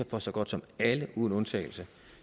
fra så godt som alle uden undtagelse